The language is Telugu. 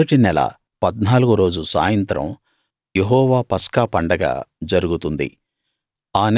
మొదటి నెల పద్నాలుగో రోజు సాయంత్రం యెహోవా పస్కా పండగ జరుగుతుంది